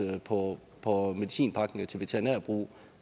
på på medicinpakninger til veterinær brug